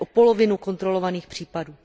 až o polovinu kontrolovaných případů.